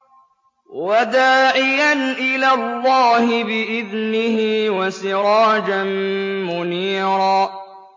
وَدَاعِيًا إِلَى اللَّهِ بِإِذْنِهِ وَسِرَاجًا مُّنِيرًا